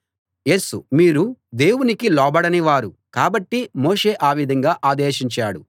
యేసు మీరు దేవునికి లోబడని వారు కాబట్టి మోషే ఆ విధంగా ఆదేశించాడు